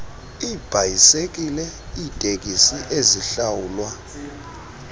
iibhayisekile iiteksi ezihlawulwa